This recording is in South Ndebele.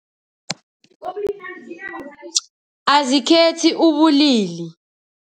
Azikhethi ubulili.